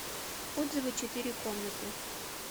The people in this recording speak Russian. отзывы четыре комнаты